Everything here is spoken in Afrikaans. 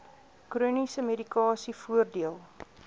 chroniese medikasie voordeel